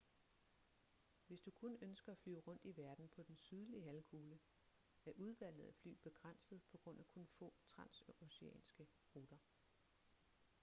hvis du kun ønsker at flyve rundt i verden på den sydlige halvkugle er udvalget af fly begrænset på grund af kun få transoceanske ruter